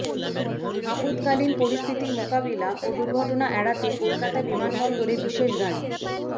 আপদকালীন পরিস্থিতি মোকাবিলা ও দুর্ঘটনা এড়াতে কলকাতা বিমানবন্দরে বিশেষ গাড়ি